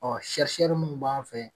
Ɔ sɛrisɛri munnu b'an fɛ ye